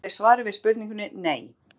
í stuttu máli er svarið við spurningunni nei